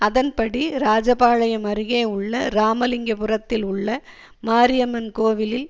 அதன் படி ராஜபாளையம் அருகே உள்ள இராமலிங்கபுரத்தில் உள்ள மாரியம்மன் கோவிலில்